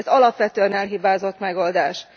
Ez alapvetően elhibázott megoldás.